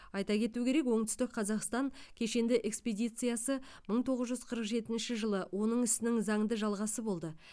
айта кету керек оңтүстік қазақстан кешенді экспедициясы мың тоғыз жүз қырық жетінші жылы оның ісінің заңды жалғасы болды